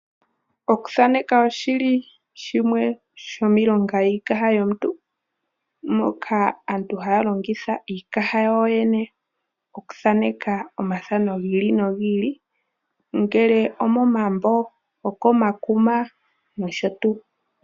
Oku thaneka oshili shimwe shomiilonga yiikaha yomuntu, moka aantu ha ya longitha iikaha ya wo yene okuthaneka omathano gi ili nogi ili, ongele omomambo, okomakuma nosho tuu.